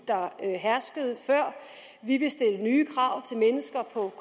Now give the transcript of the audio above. der herskede før vi vil stille nye krav til mennesker på